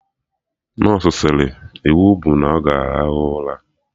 Nọsụ sịrị "iwu bụ na ọ ga arahụ ụra '!